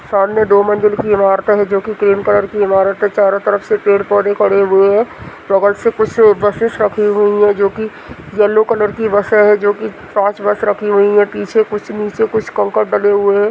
सामने दो मंजिल की इमारत है जो की क्रीम कलर की इमारत है चारों तरफ से पेड़ पौधे खड़े हुए है बगल से कुछ बसेस रखी हुई है जोकि येलो कलर की बसे है जोकि पांच बस रखी हुई है पीछे कुछ नीचे कुछ कंकड़ डले हुए है।